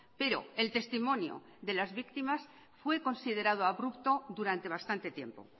pero el testimonio de las víctimas fue considerado abrupto durante bastante tiempo